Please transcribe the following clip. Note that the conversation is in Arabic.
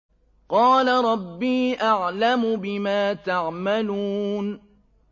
قَالَ رَبِّي أَعْلَمُ بِمَا تَعْمَلُونَ